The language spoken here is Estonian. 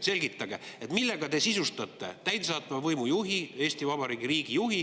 Selgitage, millega te sisustate täidesaatva võimu juhi, Eesti Vabariigi riigijuhi